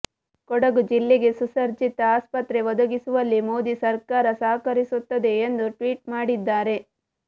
ಕೊಡಗು ಜಿಲ್ಲೆಗೆ ಸುಸರ್ಜಿತ ಆಸ್ಪತ್ರೆ ಒದಗಿಸುವಲ್ಲಿ ಮೋದಿ ಸರ್ಕಾರ ಸಹಕರಿಸುತ್ತದೆ ಎಂದು ಟ್ವೀಟ್ ಮಾಡಿದ್ದಾರೆ